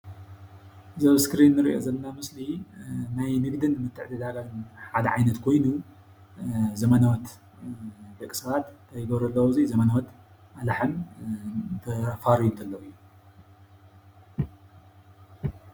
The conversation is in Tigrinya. እዚ ኣብ እስክሪን እንሪኦ ዘለና ምስሊ ናይ ንግድን ምትዕዳጋን ሓደ ዓይነት ኮይኑ ዘበናዎት ደቂ ሰባት እንታይ ይገብሩ ኣለው ኣብዙይ ዘበኖዎት ኣላሕም ዘፋርዩሉ ኣለው እዩ፡፡